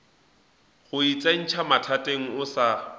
go itsentšha mathateng o sa